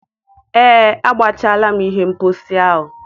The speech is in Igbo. Ee, agbachaala m ihe mposi ahụ.